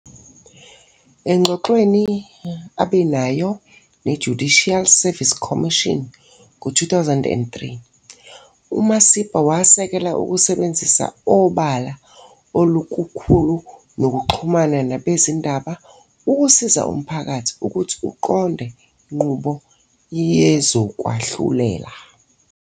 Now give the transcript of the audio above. Engxoxweni abe nayo ne-Judicial Service Commission ngo- 2003,uMasipa wasekela ukusebenza obala okukhulu nokuxhumana nabezindaba ukusiza umphakathi ukuthi uqonde inqubo yezokwahlulela.